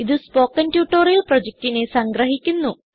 ഇതു spoken tutorial പ്രൊജക്റ്റിനെ സംഗ്രഹിക്കുന്നു